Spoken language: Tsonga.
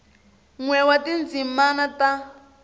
n we wa tindzimi ta